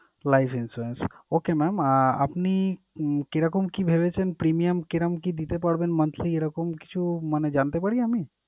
Life insurance, okay mam আহ আপনি উম কি রকম কি ভেবেছেন Premium কি রকম কি দিতে পারবেন monthly এরকম কিছু মানে জানতে পারি আমি?